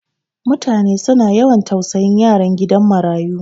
Mutane su na yawan tausayin yaran gidan marayu.